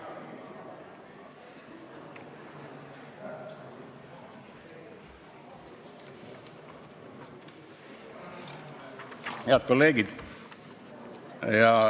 Head kolleegid!